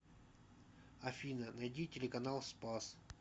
афина найди телеканал спас